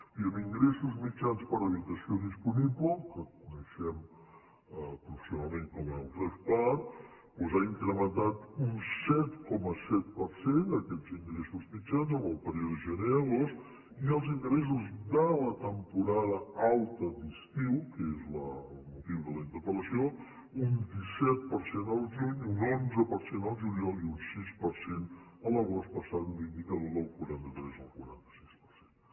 i en ingressos mitjans per habitació disponible el que coneixem professionalment com el revpar doncs han incrementat un set coma set per cent aquests ingressos mitjans en el període gener agost i els ingressos de la temporada alta d’estiu que és el motiu de la interpel·lació un disset per cent el juny un onze per cent el juliol i un sis per cent l’agost passant l’indicador del quaranta tres al quaranta sis per cent